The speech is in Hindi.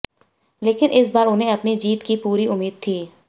लेकिन इस बार उन्हें अपनी जीत की पूरी उम्मीद थी